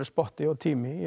spotti og tími í